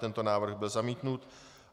Tento návrh byl zamítnut.